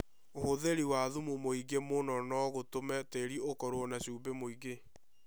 ũhũthĩri wa thumu mũingĩ mũno no gũtũme tĩĩri ũkorũo na cumbĩ mũingĩ.